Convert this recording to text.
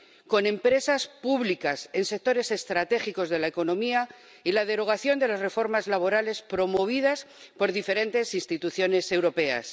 con empresas públicas en sectores estratégicos de la economía y la derogación de las reformas laborales promovidas por diferentes instituciones europeas.